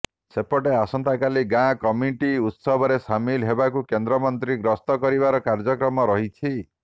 ସେପଟେ ଆସନ୍ତାକାଲି ଗାଁ କମିଟି ଉତ୍ସବରେ ସାମିଲ ହେବାକୁ କେନ୍ଦ୍ରମନ୍ତ୍ରୀ ଗସ୍ତ କରିବାର କାର୍ଯ୍ୟକ୍ରମ ରହିଛି